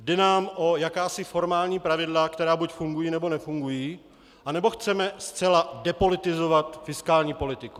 Jde nám o jakási formální pravidla, která buď fungují, nebo nefungují, anebo chceme zcela depolitizovat fiskální politiku?